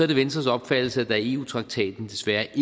det venstres opfattelse at der i eu traktaten desværre ikke